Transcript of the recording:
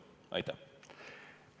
Aitäh!